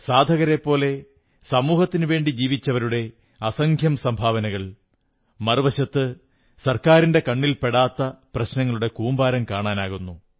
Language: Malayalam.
സാധകരെപ്പോലെ സമൂഹത്തിനുവേണ്ടി ജീവിച്ചവരുടെ അസംഖ്യം സംഭാവനകൾ മറുവശത്ത് സർക്കാരിന്റെ കണ്ണിൽ പെടാത്ത പ്രശ്നങ്ങളുടെ കൂമ്പാരം കാണാനാകുന്നു